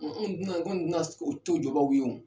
Anw tɛna anw tɛna o to jɔbaaw ye